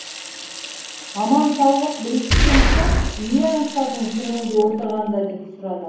аман саулық біліскен соң не аңсадың түрмеде отырғанда деп сұрады